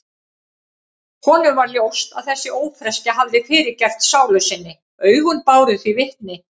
Honum varð ljóst að þessi ófreskja hafði fyrirgert sálu sinni, augun báru því vitni.